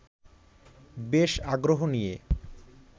বেশ আগ্রহ নিয়ে